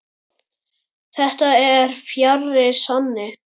Þetta er fjarri sanni.